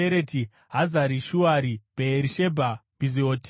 Hazari Shuari, Bheerishebha, Bhiziotia,